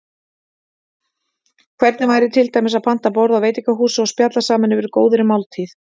Hvernig væri til dæmis að panta borð á veitingahúsi og spjalla saman yfir góðri máltíð?